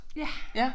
Ja